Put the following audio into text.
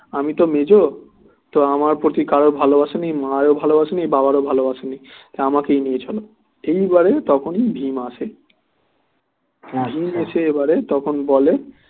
আমি তো মেজ তো আমার প্রতি কারো ভালোবাসা নেই মার ও ভালোবাসা নেই বাবার ভালোবাসা নেই তা আমাকেই নিয়ে চলো এই বারে তখনই ভীম আসে সে এবারে তখন বলে